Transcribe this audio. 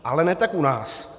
Ale ne tak u nás.